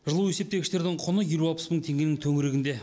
жылу есептегіштердің құны елу алпыс мың теңгенің төңірегінде